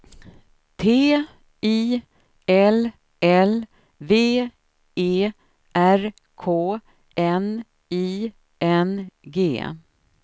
T I L L V E R K N I N G